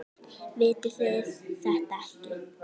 Vitið þið þetta ekki?